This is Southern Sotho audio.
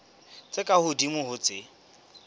tse ka hodimo ho tse